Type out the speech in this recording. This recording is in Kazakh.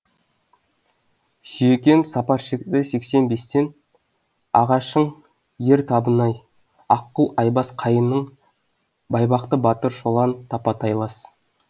сүйекем сапар шекті сексен бестен нағашың ер табынай аққұл айбас қайының байбақты батыр шолан тапа тайлас